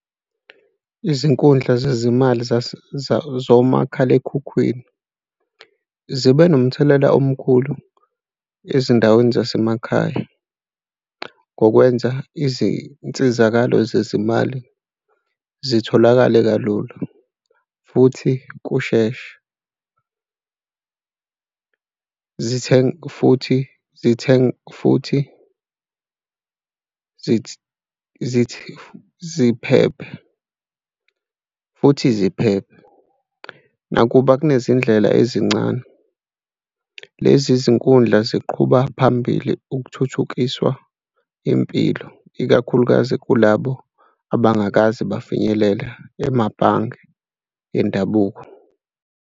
Izinkundla zezimali zomakhalekhukhwini zibe nomthelela omkhulu ezindaweni zasemakhaya ngokwenza izinsizakalo zezimali zitholakale kalula futhi kushesha, futhi, zithenge futhi, ziphephe futhi ziphephe. Nakuba kunezindlela ezincane, lezi zinkundla ziqhuba phambili ukuthuthukiswa impilo, ikakhulukazi kulabo abangakaze bafinyelele emabhange endabuko.